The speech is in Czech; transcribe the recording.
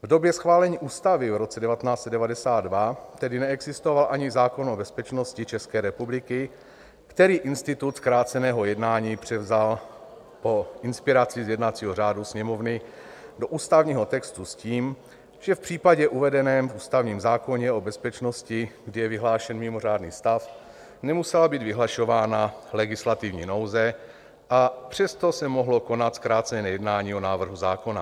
V době schválení ústavy v roce 1992 tedy neexistoval ani zákon o bezpečnosti České republiky, který institut zkráceného jednání převzal po inspiraci z jednacího řádu Sněmovny do ústavního textu s tím, že v případě uvedeném v ústavním zákoně o bezpečnosti, kdy je vyhlášen mimořádný stav, nemusela být vyhlašována legislativní nouze, a přesto se mohlo konat zkrácené jednání o návrhu zákona.